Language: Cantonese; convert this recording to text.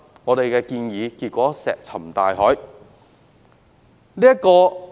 我們的建議結果卻石沉大海。